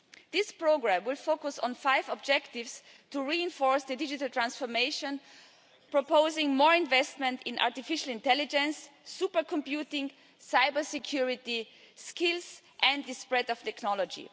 This programme will focus on five objectives to reinforce the digital transformation, proposing more investment in artificial intelligence, super computing, cyber security, skills and the spread of technology.